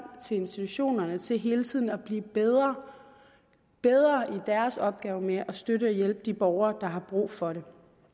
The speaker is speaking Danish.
til institutionerne til hele tiden at blive bedre i deres opgave med at støtte og hjælpe de borgere der har brug for det